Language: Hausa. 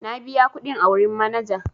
Na biya kuɗin a wurin manaja.